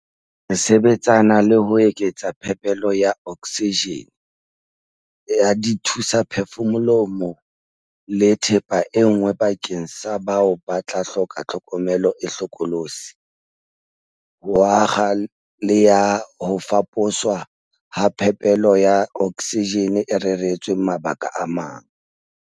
Re sebetsana le ho eketsa phepelo ya oksijene, ya dithu-saphefumoloho le thepa e nngwe bakeng sa bao ba tla hloka tlhokomelo e hlokolotsi, ho akga le ya ho faposwa ha phepelo ya oksijene e reretsweng mabaka a mang.